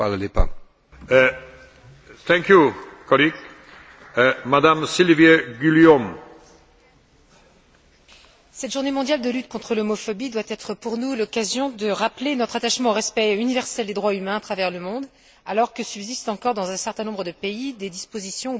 Monsieur le Président, cette journée mondiale de lutte contre l'homophobie doit être pour nous l'occasion de rappeler notre attachement au respect universel des droits humains à travers le monde, alors que subsistent encore, dans un certain nombre de pays, des dispositions ou pratiques discriminatoires fondées sur l'orientation sexuelle ou l'identité de genre.